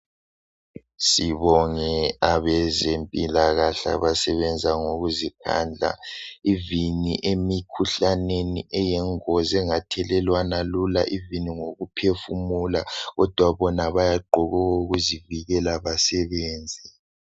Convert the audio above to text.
Sibonge abezempilakahle abasebenza ngokuzikhandla ivini emikhuhlaneni eyingozi engathelelwana lula ivini ngoku phefumula kodwa bona bayagqoka okokuzivikela basebenze.